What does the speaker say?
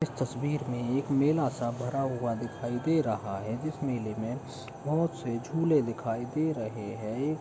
इस तस्वीर में एक मेला सा भरा हुआ दिखाई दे रहा है। इस मेले में बहोत से झूले दिखाई दे रहे हैं। ए --